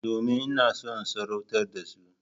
Domin ina so in tsoratar da su.